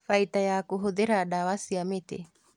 Baita ya kũhũthĩra ndawa cia mĩtĩ